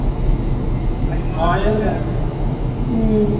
ਅਸੀ ਮਾਰ ਥੋੜੀ ਦੇਣਾ